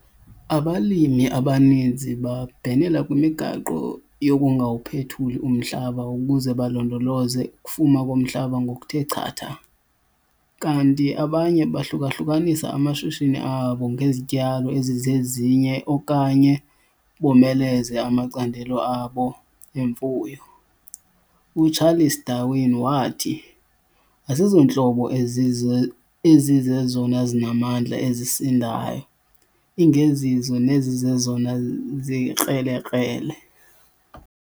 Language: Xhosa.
Abalimi abaninzi babhenela kwimigaqo yokungawuphethuli umhlaba ukuze balondoloze ukufuma komhlaba ngokuthe chatha, kanti abanye bahluka-hlukanisa amashishini abo ngezityalo ezizezinye okanye bomeleze amacandelo abo emfuyo. UCharles Darwin wathi, 'Asizontlobo ezize ezizezona zinamandla ezisindayo, ingezizo nezizezona zikrelekrele.